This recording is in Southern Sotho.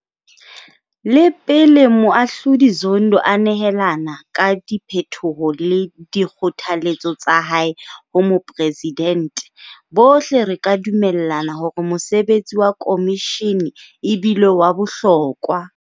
Le pele Moahlodi Zondo a nehelana ka diphetho le dikgothaletso tsa hae ho moporesidente, bohle re ka dumellana hore mosebetsi wa khomishene e bile wa bohlokwa.